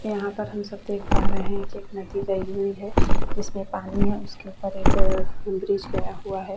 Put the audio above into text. यहाँ पर हम सब देख पा रहे है एक नदी का विव है जिस में पानी है उसके ऊपर एक ब्रिज गया हुआ है।